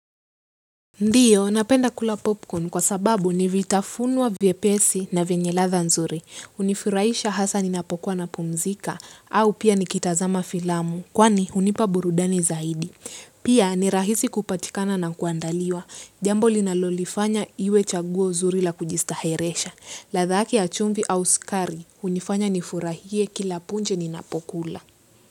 Ndiyo, napenda kula popcorn kwa sababu, ni vitafunwa vyepesi na vyenye ladha nzuri. Unifurahisha hasa ninapokuwa napumzika, au pia nikitazama filamu, kwani, hunipa burudani zaidi. Pia, ni rahisi kupatikana na kuandaliwa. Jambo linalolifanya iwe chaguo zuri la kujistaheresha. Ladha yake ya chumvi au sukari, hunifanya nifurahie kila punje ninapokula.